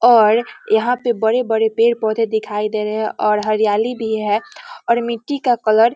और यहाँ पे बड़े-बड़े पेड़-पौधे दिखाई दे रहे हैं और हरियाली भी हैं और मिट्टी का कलर --